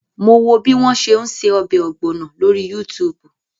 Mo wo bí wọ́n ṣe ń ṣe ọbẹ̀ ọ̀gbọ̀nọ̀ lórí Yútùùbù